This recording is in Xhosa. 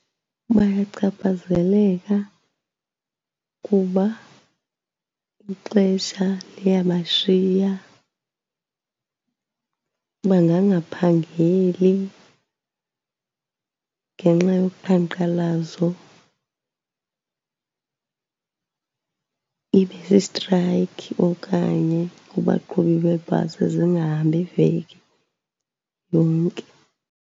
Bayachaphazeleka kuba ixesha liyabashiya, bangangaphangeli ngenxa yoqhankqalazo. Ibe sistrayikhi okanye kubaqhubi beebhasi, zingahambi iveki yonke.